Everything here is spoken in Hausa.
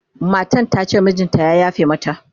matan tace mijinta ya yafe mata